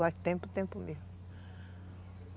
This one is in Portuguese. Faz tempo, tempo mesmo.